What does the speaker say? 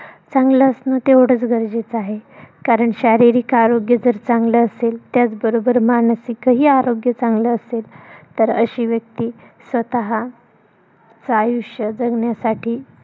चांगलं असण तेवढंच गरजेचं आहे. कारण शारीरिक आरोग्य जर, चांगलं असेल त्याच बरोबर मानसिकही आरोग्य चांगलं असेल तर, अशी व्यक्ती स्वतः च आयुष्य जगण्यासाठी